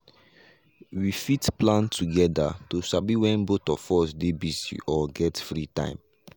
we fit plan together to sabi when both of us dey busy or get free time.